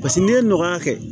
Paseke n'i ye ɲɔgɔn ya kɛ